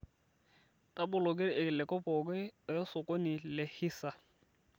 taboloki irkiliku pooki eosokoni lehisa